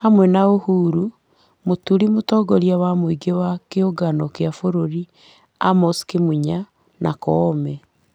Hamwe na Uhuru, Mũturi, mũtongoria wa mũingĩ wa kĩũngano kĩa bũrũri Amos Kĩmunya, Koome,